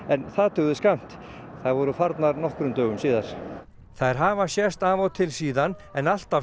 því þær voru farnar nokkrum dögum síðar þær hafa sést af og til síðan en alltaf stoppað stutt